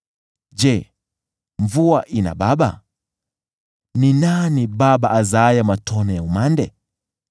Je, mvua ina baba? Ni nani baba azaaye matone ya umande?